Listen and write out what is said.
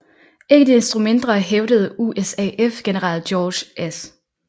Ikke desto mindre hævdede USAF general George S